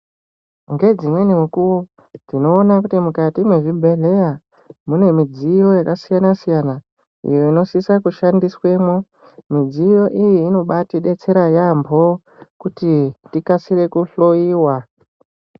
Ngedzimweni mukuwo tinoona kuti mukati mwezvibhedhleya mune mudziyo yakasiyana siyana iyo inosisa kushandiswemwo mudziyo iyi inobatidetsera yaampo kuti tikasire kuhloiwa.